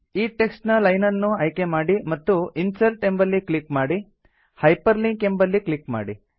ಈ ಟೆಕ್ಸ್ಟ್ ನ ಲೈನ್ ಅನ್ನು ಆಯ್ಕೆ ಮಾಡಿ ಮತ್ತು ಇನ್ಸರ್ಟ್ ಎಂಬಲ್ಲಿ ಕ್ಲಿಕ್ ಮಾಡಿ ಹೈಪರ್ಲಿಂಕ್ ಎಂಬಲ್ಲಿ ಕ್ಲಿಕ್ ಮಾಡಿ